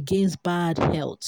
against bad health